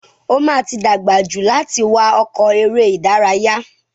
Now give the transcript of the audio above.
O ma ti dàgbà jù láti wá ọkọ̀ eré ìdárayá.